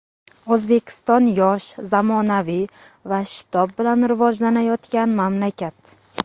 O‘zbekiston yosh, zamonaviy va shitob bilan rivojlanayotgan mamlakat.